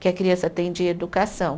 Que a criança tem de educação.